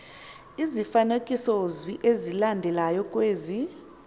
izifanekisozwi ezifanelekileyo kwezi